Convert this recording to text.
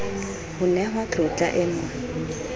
ho nehwa tlotla e mo